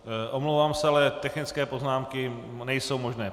Omlouvám se, ale technické poznámky nejsou možné.